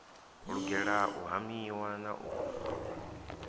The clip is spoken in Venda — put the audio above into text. lugela u hamiwa na u